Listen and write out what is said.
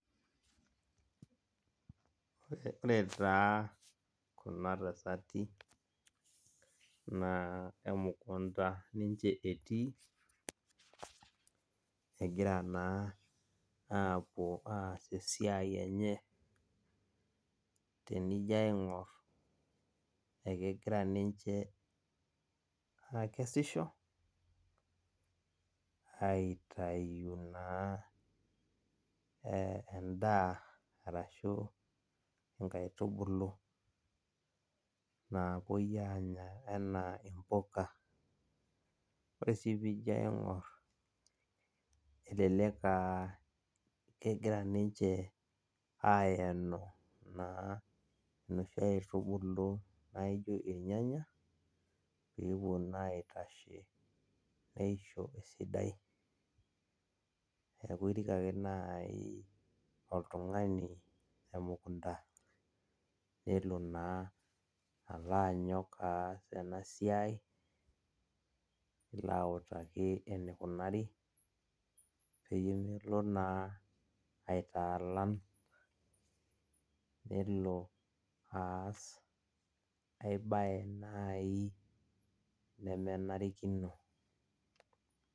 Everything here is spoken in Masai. Ore taa kuna tasati na emukunda ninche etii egira na apuo aas esiai enye twnijo aingur kegira ninche akesisho aitau naa endaa arashu nkaitubulu napuoi anya ana mpuka, ore ai pijo aingur elelek aa kegira ninche aenu noshi aitubulu naijo irnyanya pepuo na aitasho peisho esidai neaku irik ake nai oltungani emukunda nelo na alo anyok aas enasiai nelo autaa enikunari pemelo na ainyala nelo aas aibae nai nemenarikino.